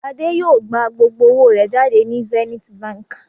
Adé yóò gbà gbogbo owó rẹ̀ jáde ní Zenith Báńkì.